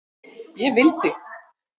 Ég vil þig.